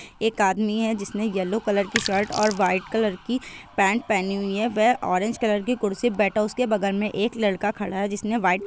एक आदमी है जिस ने येलो कलर की शर्ट और व्हाइट कलर की पैंट पहनी हुई है ऑरेंज कलर की कुर्सी पर बैठा हुआ है उसके बगल में एक लड़का खड़ा है जिसने व्हाइट --